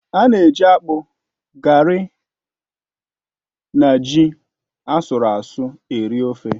A na-eji akpu, gari na ji asụru asụ́ eri ofe